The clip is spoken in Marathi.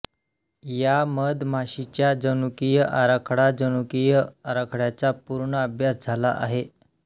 या मधमाशीच्या जनुकीय आराखडाजनुकीय आराखड्याचा पूर्ण अभ्यास झाला आहे